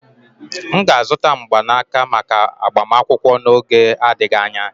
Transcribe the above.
M ga-azụta mgbanaka maka agbamakwụkwọ n'oge n'adịghị anya.